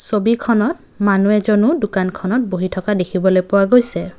ছবিখনত মানুহ এজনো দোকানখনত বহি থকা দেখিবলৈ পোৱা গৈছে।